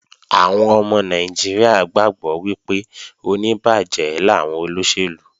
Àwọn ọmọ Nàìjíríà gbàgbọ́ wípé oníbàjẹ́ làwọn olóṣèlú